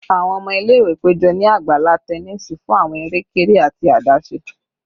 Awọn ọmọ ile-iwe pejọ ni agbala tẹnisi fun awọn ere-kere ati adaṣe